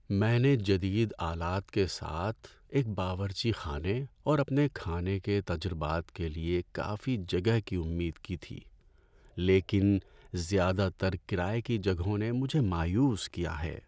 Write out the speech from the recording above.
میں نے جدید آلات کے ساتھ ایک باورچی خانے اور اپنے کھانے کے تجربات کے لیے کافی جگہ کی امید کی تھی، لیکن زیادہ تر کرایے کی جگہوں نے مجھے مایوس کیا ہے۔